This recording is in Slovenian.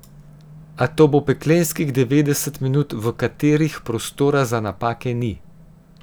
A to bo peklenskih devetdeset minut, v katerih prostora za napake ni.